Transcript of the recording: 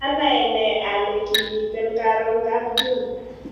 Anaene ale kimiten karon kapJune